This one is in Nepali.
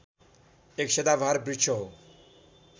एक सदाबहार वृक्ष हो